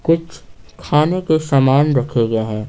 कुछ खाने के सामान रखे गए हैं।